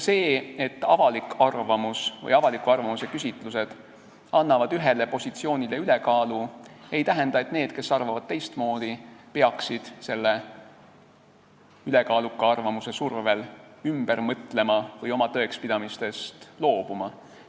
See, et avaliku arvamuse küsitlused annavad ühele positsioonile ülekaalu, ei tähenda, et need, kes arvavad teistmoodi, peaks selle ülekaaluka arvamuse survel ümber mõtlema või oma tõekspidamistest loobuma.